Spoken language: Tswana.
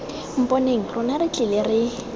mponeng rona re tlile re